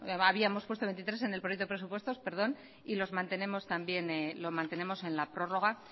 habíamos puesto veintitrés en el proyecto de presupuestos perdón y lo mantenemos en la prórroga